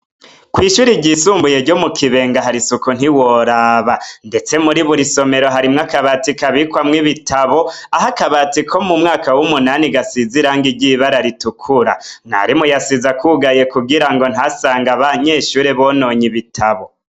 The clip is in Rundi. Kw'ishuri ryisumbuye ryo mu kibenga harisuku ntiworaba, ndetse muri buri somero harimwo akabati kabikwamwo ibitabo aho akabati ko mu mwaka w'umunani gasiziranga ry'ibara ritukura mwarimu yasiza kwugaye kugira ngo ntasanga ba nyeshuri bononye ibitabo.